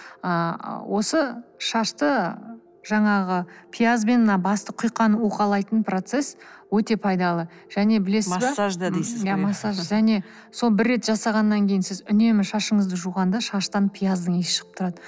ыыы осы шашты жаңағы пиязбен мына басты құйқаны уқалайтын процесс өте пайдалы және білесіз бе массаж да дейсіз ғой иә массаж және соны бір рет жасағаннан кейін сіз үнемі шашыңызды жуғанда шаштан пияздың иісі шығып тұрады